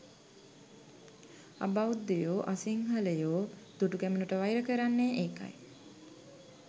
අබෞද්ධයෝ අසිංහලයෝ දුටුගැමුණුට වෛර කරන්නේ ඒකයි.